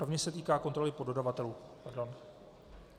Rovněž se týká kontroly poddodavatelů.